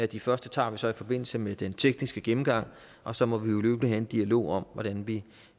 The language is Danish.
de første tager vi så i forbindelse med den tekniske gennemgang og så må vi jo løbende have en dialog om hvordan vi